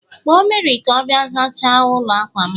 Kpọọ Mary ka ọ bịa zachaa ụlọ akwa'm